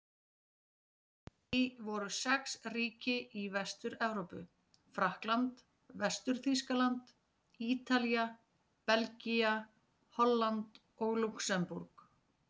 Í því voru sex ríki í Vestur-Evrópu: Frakkland, Vestur-Þýskaland, Ítalía, Belgía, Holland og Lúxemborg.